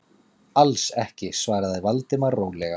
Alls ekki- svaraði Valdimar rólega.